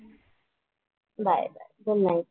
Bye bye, good night.